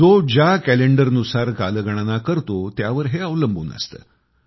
जो ज्या कॅलेंडरनुसार कालगणना करतो त्यावर हे अवलंबून असते